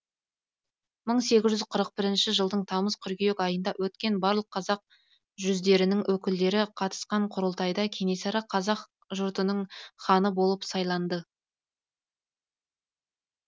мың сегіз жүз қырық бірінші жылдың тамыз қыркүйек айында өткен барлық қазақ жүздерінің өкілдері қатысқан құрылтайда кенесары қазақ жртының ханы болып сайланды